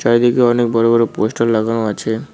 এইদিকে অনেক বড় বড় পোস্টার লাগানো আছে।